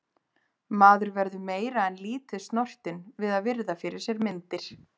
Maður verður meira en lítið snortinn við að virða fyrir sér myndir.